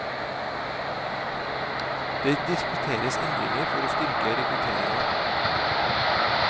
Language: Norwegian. Det diskuteres endringer for å styrke rekrutteringa.